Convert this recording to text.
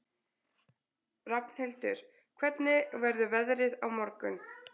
Rafnhildur, hvernig verður veðrið á morgun?